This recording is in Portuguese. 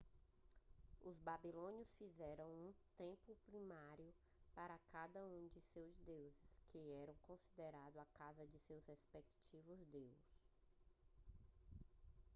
os babilônios fizeram um templo primário para cada um de seus deuses que eram considerado a casa de seus respectivos deus